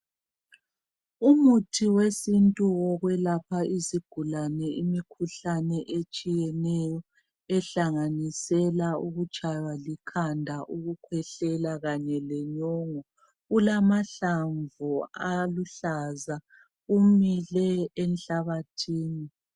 Umuthi wesintu wokwelapha izigulane imikhuhlane etshiyeneyo ehlanganisela ukutshaywa likhanda ukukhwehlela Kanye lenyongo ulamahlamvu aluhlaza umile enhlabathini